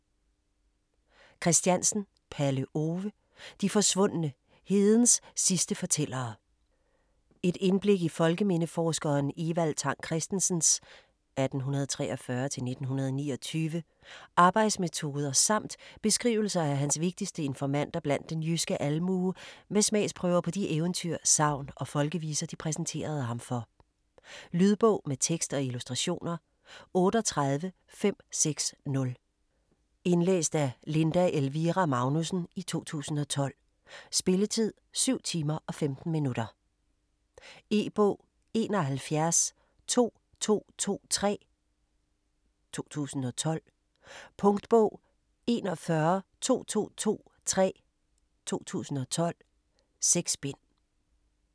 Christiansen, Palle Ove: De forsvundne: hedens sidste fortællere Et indblik i folkemindeforskeren Evald Tang Kristensens (1843-1929) arbejdsmetoder samt beskrivelser af hans vigtigste informanter blandt den jyske almue med smagsprøver på de eventyr, sagn og folkeviser, de præsenterede ham for. Lydbog med tekst og illustrationer 38560 Indlæst af Linda Elvira Magnussen, 2012. Spilletid: 7 timer, 15 minutter. E-bog 712223 2012. Punktbog 412223 2012. 6 bind.